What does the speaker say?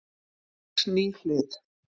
Sex ný hlið